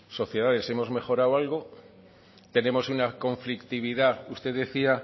sociedades hemos mejorado algo tenemos una conflictividad usted decía